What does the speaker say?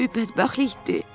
Nə böyük bədbəxtlikdir!